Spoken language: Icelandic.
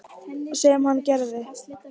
Sem hann gerði.